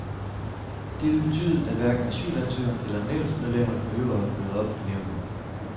Det vil betyde, at hverken asylsøgeren eller nævnsmedlemmerne behøver at møde op i nævnet.